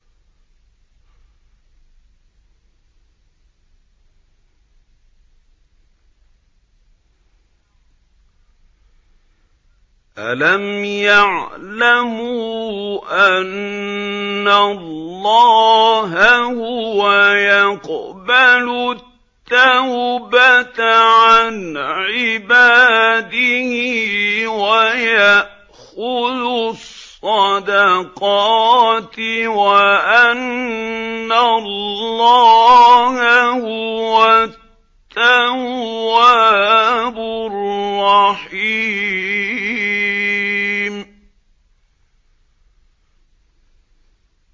أَلَمْ يَعْلَمُوا أَنَّ اللَّهَ هُوَ يَقْبَلُ التَّوْبَةَ عَنْ عِبَادِهِ وَيَأْخُذُ الصَّدَقَاتِ وَأَنَّ اللَّهَ هُوَ التَّوَّابُ الرَّحِيمُ